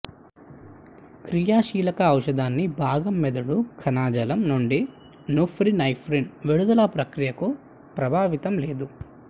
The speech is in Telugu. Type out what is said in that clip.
క్రియాశీలక ఔషధాన్ని భాగం మెదడు కణజాలం నుండి నూర్పినేఫ్రిన్ విడుదల ప్రక్రియను ప్రభావితం లేదు